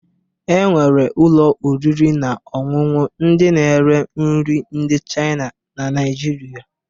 E nwere ụlọ oriri na ọṅụṅụ ndị na-ere nri ndị Chayịna na Naịjirịa